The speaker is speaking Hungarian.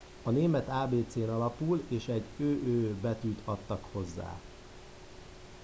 a német ábécén alapult és egy õ/õ” betűt adtak hozzá